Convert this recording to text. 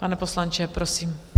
Pane poslanče, prosím.